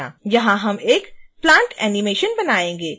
यहाँ हम एक plant animation बनायेंगे